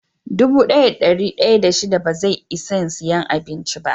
Dubu daya da dari daya da shida ba zai Isan siya abincin ba.